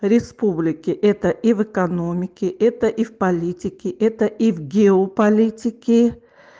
республики это и в экономике это и в политике это и в гео-политики